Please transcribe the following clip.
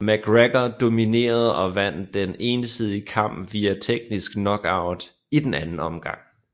McGregor dominerede og vandt den ensidige kamp via teknisk knockout i den anden omgang